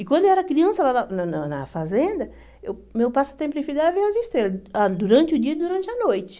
E quando eu era criança lá na na na na fazenda, eu meu passatempo preferido era ver as estrelas, ah durante o dia e durante a noite.